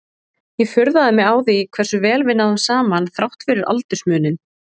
Ég furðaði mig á því hversu vel við náðum saman þrátt fyrir aldursmuninn.